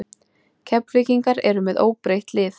Keflvíkingar eru með óbreytt lið.